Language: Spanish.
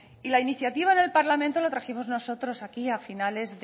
y la iniciativa en el parlamento la trajimos nosotros aquí a finales